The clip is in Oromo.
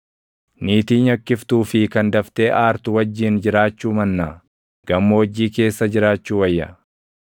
Niitii nyakkiftuu fi kan daftee aartu wajjin jiraachuu mannaa, gammoojjii keessa jiraachuu wayya.